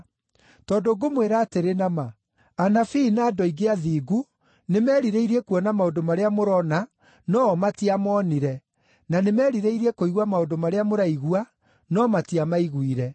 Tondũ ngũmwĩra atĩrĩ na ma, anabii na andũ aingĩ athingu nĩmerirĩirie kuona maũndũ marĩa mũrona no-o matiamonire, na nĩmerirĩirie kũigua maũndũ marĩa mũraigua no matiamaiguire.